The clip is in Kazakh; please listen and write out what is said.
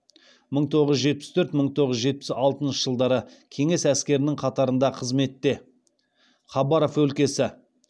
мың тоғыз жүз жетпіс төрт мың тоғыз жүз жетпіс алтыншы жылдары кеңес әскерінің қатарында қызметте хабаров өлкесі